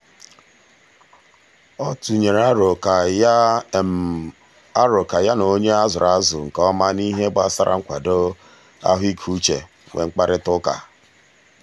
ọ tụnyere arọ ka ya arọ ka ya na onye a zụrụ azụ nke ọma n'ihe gbasara nkwado ahụikeuche nwee mkparịtaụka.